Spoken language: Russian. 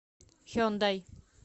хендай